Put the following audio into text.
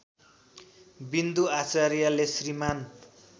विन्दु आचार्यले श्रीमान्